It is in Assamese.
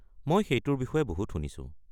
মই সেইটোৰ বিষয়ে বহুত শুনিছো।